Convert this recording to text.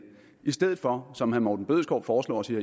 i stedet for som herre morten bødskov foreslår og siger